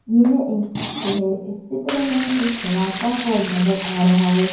यह एक चित्र है। इस चित्र में एक बड़ा सा हॉल नजर आ रहा है।